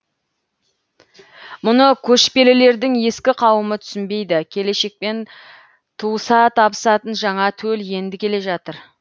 мұны көшпелілердің ескі қауымы түсінбейді келешекпен туыса табысатын жаңа төл енді келе жатыр